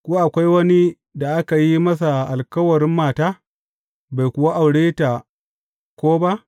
Ko akwai wani da aka yi masa alkawarin mata, bai kuwa aure ta ko ba?